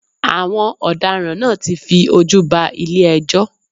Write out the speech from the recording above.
Àwọn ọ̀daràn náà ti fi ojú ba ilé ẹjọ́.